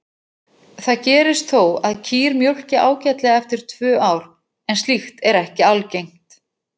Mynd af Hippókratesi er af síðunni Hippocrates.